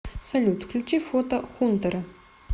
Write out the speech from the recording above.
салют включи фото хунтера